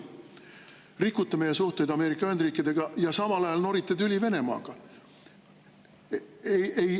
Te rikute meie suhteid Ameerika Ühendriikidega ja samal ajal norite tüli Venemaaga.